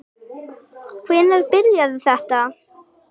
Hvenær byrjaði þetta?